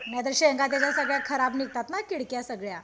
नाहीतर शेंगा त्याचा खराब निघतात ना किडक्या सगळ्या